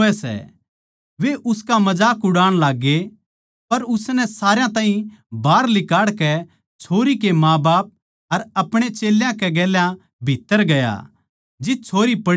वे उसका मजाक उड़ाण लाग्गे पर उसनै सारया ताहीं बाहर लिकाड़कै छोरी कै माँबाप अर आपणे चेल्यां कै गेल्या भीत्त्तर गया जित छोरी पड़ी थी